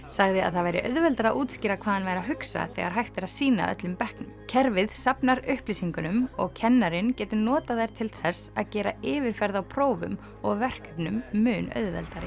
sagði að það væri auðveldara að útskýra hvað hann væri að hugsa þegar hægt er að sýna öllum bekknum kerfið safnar upplýsingunum og kennarinn getur notað þær til þess að gera yfirferð á prófum og verkefnum mun auðveldari